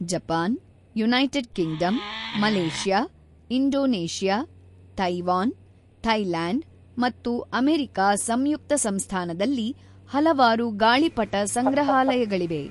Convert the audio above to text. Japan, United Kingdom, Malaysia, Indonesia, Taiwan, Thailand ಮತ್ತು America ಸಂಯುಕ್ತ ಸಂಸ್ಥಾನದಲ್ಲಿ ಹಲವಾರು ಗಾಳಿಪಟ ಸಂಗ್ರಹಾಲಯಗಳಿವೆ.